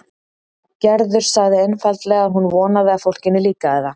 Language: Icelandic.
Gerður sagði einfaldlega að hún vonaði að fólkinu líkaði það.